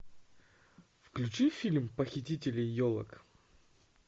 включи фильм похитители елок